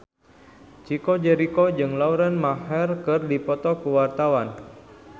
Chico Jericho jeung Lauren Maher keur dipoto ku wartawan